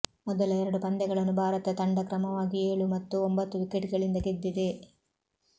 ಮೊದಲ ಎರಡು ಪಂದ್ಯಗಳನ್ನು ಭಾರತ ತಂಡ ಕ್ರಮವಾಗಿ ಏಳು ಮತ್ತು ಒಂಬತ್ತು ವಿಕೆಟ್ಗಳಿಂದ ಗೆದ್ದಿದೆ